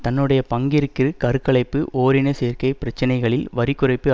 தன்னுடைய பங்கிற்கு கரு கலைப்பு ஓரின சேர்க்கை பிரச்சனைகளில் வரி குறைப்பு